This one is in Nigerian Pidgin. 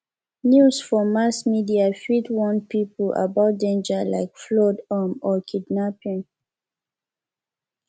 news for mass media fit warn people about danger like flood um or kidnapping